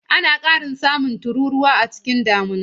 Ana samun ƙarin tururuwa a lokacin damina.